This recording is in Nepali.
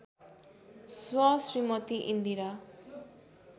स्व श्रीमती इन्दिरा